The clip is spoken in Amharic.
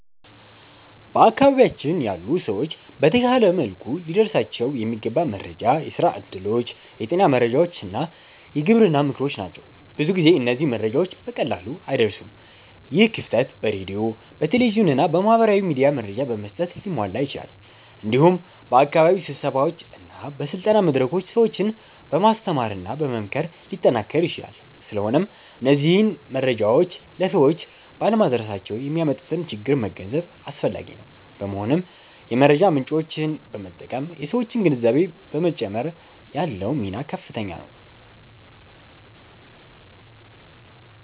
በአካባቢያችን ያሉ ሰዎች በተሻለ መልኩ ሊደርሳቸው የሚገባ መረጃ የስራ እድሎች፣ የጤና መረጃዎች እና የግብርና ምክሮች ናቸው። ብዙ ጊዜ እነዚህ መረጃዎች በቀላሉ አይደርሱም። ይህ ክፍተት በሬዲዮ፣ በቴሌቪዥን እና በማህበራዊ ሚዲያ መረጃ በመስጠት ሊሟላ ይችላል። እንዲሁም በአካባቢ ስብሰባዎች እና በስልጠና መድረኮች ሰዎችን በማስተማርና በመምከር ሊጠናከር ይችላል። ስለሆነም እነዚህ መረጃዎች ለሰዎች ባለመድረሳቸው የሚያመጡትን ችግር መገንዘብ አስፈላጊ ነው። በመሆኑም የመረጃ ምጮችን በመጠቀም የሠዎችን ግንዛቤ በመጨመር ያለው ሚና ከፍተኛ ነው።